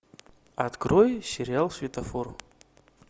открой сериал светофор